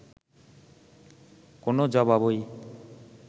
কোনও জবাবই